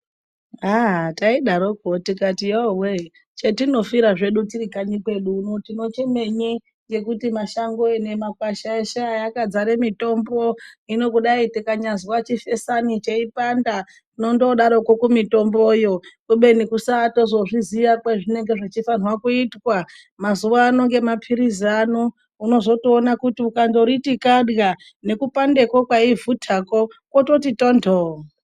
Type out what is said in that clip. Aaa taidarokwo tikati yoowe chetinofira zvedu tiri kanyi kwedu uno tinochemenyi ngekuti mashango nemakwasha eshe aya akadzare mitombo hino kudai yikanyazwa chifesani cheipanda tinondoodarokwo kumitomboyo kubeni kusaatozozviziya kwezvinenge zvichfanirwa kuitwa. Mazuwa ano ngemapirizi ano unozotoona kuti ukandoriti kadywa nekupandekwo kwaivhutakwo kwototi tonthoo.